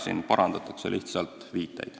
Siin parandatakse lihtsalt viiteid.